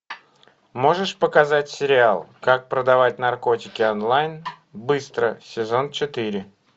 можешь показать сериал как продавать наркотики онлайн быстро сезон четыре